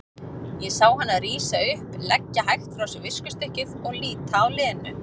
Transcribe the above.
Ég sá hana rísa upp, leggja hægt frá sér viskustykkið og líta á Lenu.